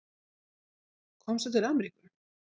Komstu til Ameríku?